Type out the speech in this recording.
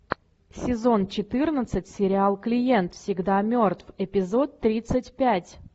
сезон четырнадцать сериал клиент всегда мертв эпизод тридцать пять